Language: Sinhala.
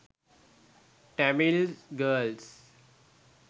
tamil girls